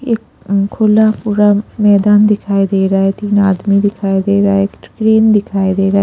ये अ खुला पूरा मैदान दिखाई दे रहा है तीन आदमी दिखाई दे रहा है एक ट्रेन दिखाई दे रहा है।